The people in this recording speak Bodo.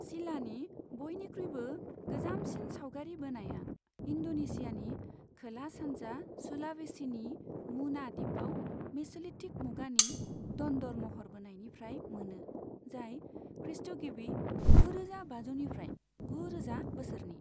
सिलानि बयनिख्रुइबो गोजामसिन सावगारि बोनाया इन्द'नेसियानि खोला सानजा सुलावेसिनि मुना दिपाव मेस'लिथिक मुगानि दन्दर महर बोनायनिफ्राय मोनो, जाय खृस्ट'गिबि गुरोजा बाजौनिफ्राय गुरोजा बोसोरनि।